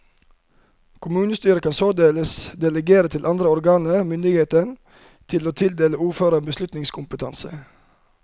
Kommunestyret kan således delegere til andre organer myndigheten til å tildele ordføreren beslutningskompetanse.